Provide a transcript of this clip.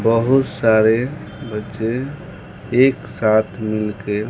बहुत सारे बच्चे एक साथ मिलके--